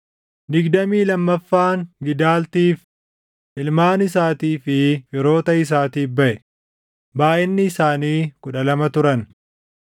digdamii lammaffaan Gidaltiif, // ilmaan isaatii fi firoota isaatiif baʼe; // baayʼinni isaanii kudha lama turan